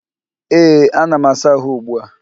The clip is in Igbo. Ee, ana m asa àhụ́ ugbu a.